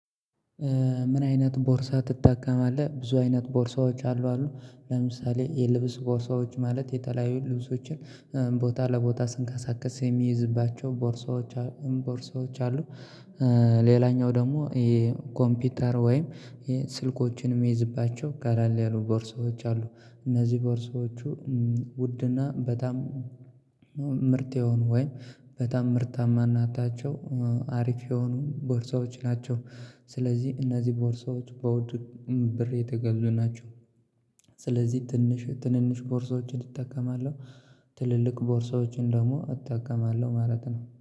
ምን አይነት ቦርሳ ትጠቀማለህ? ብዙ አይነት ቦርሳዎች አሉ አሉ ለምሳሌ የልብስ ቦርሳዎች ማለት የተለያዩ ልብሶችን ቦታ ለቦታ ስንቀሳቀስ የሚይዝባቸው ቦርሳዎች ቦርሳዎች አሉ። ሌላኛው ደግሞ ይሄ ኮምፒውተር ወይም ስልኮችን የሚይዝባቸው ቀለል ያሉ ቦርሶች አሉ። እነዚህ ቦርሶች ውድና በጣም ምርጥ የሆኑ ወይ በጣም ምርታማነታቸው አሪፍ የሆኑ ቦርሳዎች ናቸው። ስለዚህ እነዚህ ቦርሳዎች በውድ ብር የተገዙ ናቸው። ስለዚህ ትንሽ ትንንሽ ቦርሳዎችን እጠቀማለሁ ትልልቅ ቦርሶችን ደግሞ እጠቀማለሁ ማለት ነው